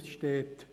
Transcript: Dort steht: